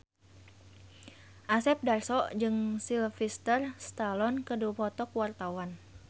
Asep Darso jeung Sylvester Stallone keur dipoto ku wartawan